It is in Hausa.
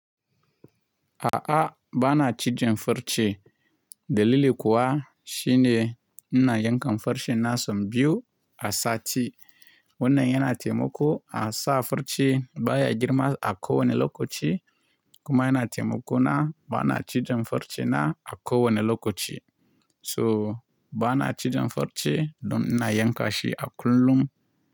A'a, ba na ci jan farci. Dalili kuwa shine ina yankan farcen na sau biyu a sati. Wannan yana taimako a sa farci baya girma a ko wane lokaci kuma yana taimakona ba na ci jan farcena a ko wane lokaci. So ba na ci jan farci don ina yanka shi a kullum.